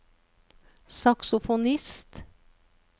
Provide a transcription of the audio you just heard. saksofonist